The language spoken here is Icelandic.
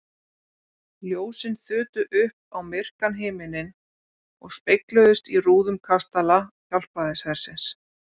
Ljósin þutu upp á myrkan himininn og spegluðust í rúðum kastala Hjálpræðishersins.